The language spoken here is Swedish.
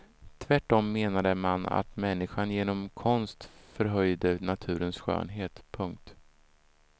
Tvärtom menade man att människan genom konst förhöjde naturens skönhet. punkt